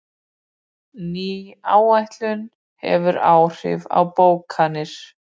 Ný áætlun hefur áhrif á bókanir